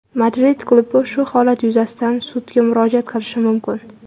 Madrid klubi shu holat yuzasidan sudga murojaat qilishi mumkin.